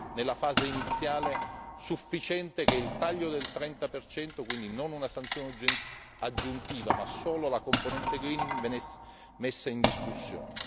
nella fase iniziale avevamo ritenuto sufficiente che il taglio del 30 percento, e quindi non una sanzione aggiuntiva, ma solo la componente greening venisse messe in discussione.